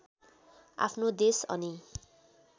आफ्नो देश अनि